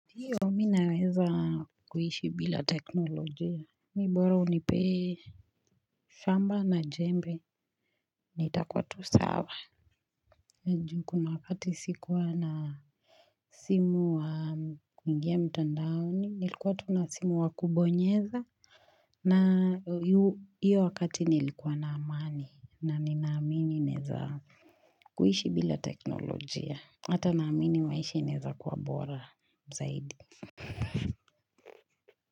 Hiyo mi naweza kuishi bila teknolojia. Mi bora unipee shamba na jembe nitakuwa tu sawa. Kuna wakati sikuwa na simu wa kuingia mitandaoni nilikuwa tu na simu wa kubonyeza. Na hiyo wakati nilikuwa naamani na ninaamini naeza kuishi bila teknolojia. Hata naamini maisha inaeza kuwa bora zaidi.